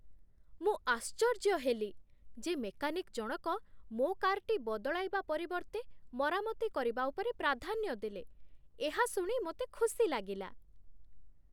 ମୁଁ ଆଶ୍ଚର୍ଯ୍ୟ ହେଲି ଯେ ମେକାନିକ୍ ଜଣକ ମୋ କାର୍‌ଟି ବଦଳାଇବା ପରିବର୍ତ୍ତେ ମରାମତି କରିବା ଉପରେ ପ୍ରାଧାନ୍ୟ ଦେଲେ। ଏହା ଶୁଣି ମୋତେ ଖୁସି ଲାଗିଲା।